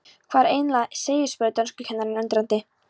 Hvað er eiginlega á seyði? spurði dönskukennarinn undrandi.